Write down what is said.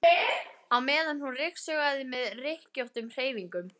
á meðan hún ryksugaði með rykkjóttum hreyfingum.